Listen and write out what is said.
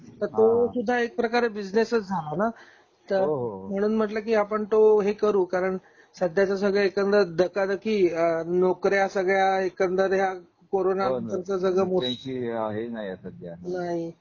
तर तो एक प्रकार बिझनेसच झाला ना तर हो हो हो म्हणून म्हंटल कि आपण हे करू, कारण सध्याच सगळ एकंदर धकाधकी नोकऱ्या सगळ्या एकंदर ह्या करोना नंतरच सगळ